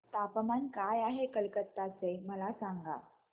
तापमान काय आहे कलकत्ता चे मला सांगा